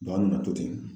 an nana to ten